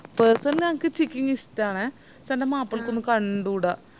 personnally എനക്ക് chicking ഇഷ്ട്ടണേ പഷേ ന്ടെ മാപ്പിളക്കൊന്നും കണ്ടൂടാ